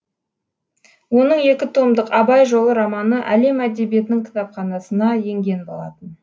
оның екі томдық абай жолы романы әлем әдебиетінің кітапханасына енген болатын